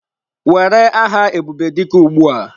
Were aha Ebubedike ugbu a!